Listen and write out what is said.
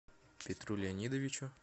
петру леонидовичу